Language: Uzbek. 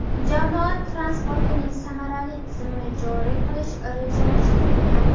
Jamoat transportining samarali tizimini joriy qilish rejalashtirilgan.